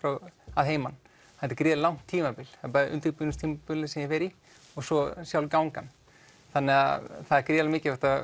að heiman þetta er gríðarlega langt tímabil undirbúningstímabilið sem ég fer í og svo sjálf gangan þannig að það er gríðarlega mikilvægt að